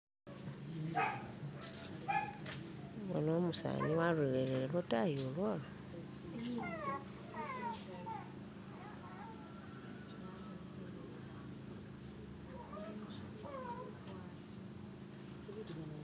Bona umusani walolele lwatayi ulwolwo.